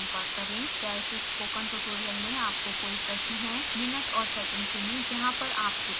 क्या इस spoken tutorial में आपको कोई प्रश्न है